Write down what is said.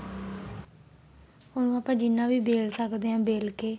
ਉਹਨੂੰ ਆਪਾਂ ਜਿੰਨਾ ਵੀ ਬੇਲ ਸਕਦੇ ਆ ਬੇਲ ਕੇ